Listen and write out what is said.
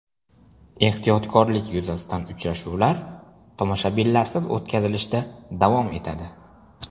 Ehtiyotkorlik yuzasidan uchrashuvlar tomoshabinlarsiz o‘tkazilishda davom etadi.